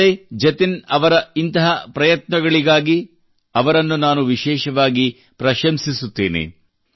ಸಂಜಯ್ ಜತಿನ್ ಅವರಂತಹ ಇಂತಹ ಪ್ರಯತ್ನಗಳಿಗಾಗಿ ಅವರನ್ನು ನಾನು ವಿಶೇಷವಾಗಿ ಪ್ರಶಂಸಿಸುತ್ತೇನೆ